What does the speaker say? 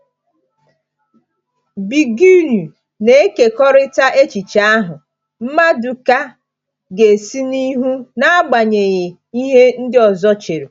Zbigniew na-ekekọrịta echiche ahụ: “Maduka ga-esi n’ihu n’agbanyeghị ihe ndị ọzọ chere.”